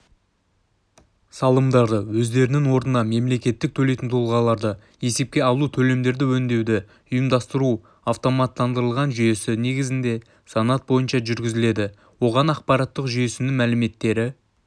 салымдарды өздерінің орнына мемлекет төлейтін тұлғаларды есепке алу төлемдерді өңдеуді ұйымдастыру автоматтандырылған жүйесі негізінде санат бойынша жүргізіледі оған ақпарат жүйесінің мәліметтері